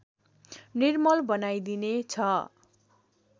निर्मल बनाइदिने छ